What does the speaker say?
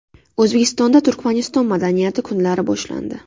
O‘zbekistonda Turkmaniston madaniyati kunlari boshlandi.